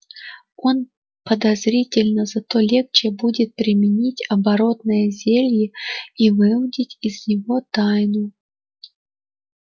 он подозрительно зато легче будет применить оборотное зелье и выудить из него тайну